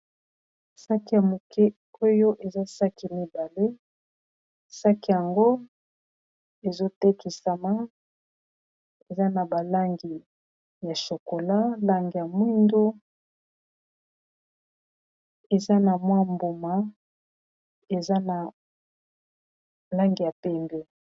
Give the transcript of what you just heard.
saki ya moke oyo eza saki mibale saki yango ezotekisama eza na balangi ya shokola langi ya mwindo eza na mwa mbuma ezana langi ya pembe